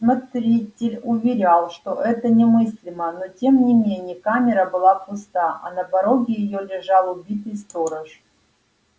смотритель уверял что это немыслимо но тем не менее камера была пуста а на пороге её лежал убитый сторож